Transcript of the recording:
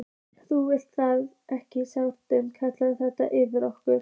Þú vildir það ekki og kallaðir þetta yfir þig, okkur.